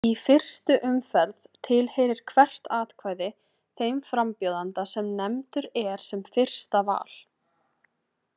Í fyrstu umferð tilheyrir hvert atkvæði þeim frambjóðanda sem nefndur er sem fyrsta val.